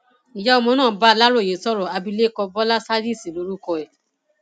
ìyá ọmọ náà bá aláròye sọrọ abilékọ bọlá sádísì lórúkọ ẹ